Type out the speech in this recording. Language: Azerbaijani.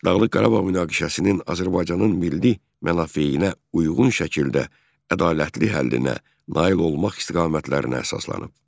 Dağlıq Qarabağ münaqişəsinin Azərbaycanın milli mənafeyinə uyğun şəkildə ədalətli həllinə nail olmaq istiqamətlərinə əsaslanıb.